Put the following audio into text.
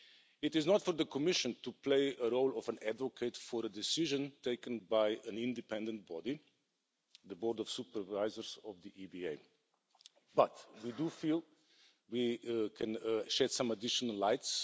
It is not for the Commission to play the role of an advocate for a decision taken by an independent body, the Board of Supervisors of the EBA, but we do feel that we can shed some additional light.